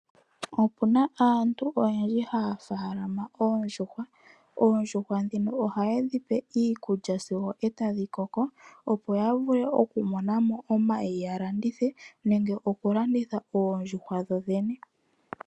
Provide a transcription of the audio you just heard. Opuna aantu oyendji haya faalama oondjuhwa. Oondjuhwa ndhino ohaye dhi pe iikulya sigo etadhi koko opo ya vule oku mona mo omayi ya landithe nenge oku landitha oondjuhwa dho dhene.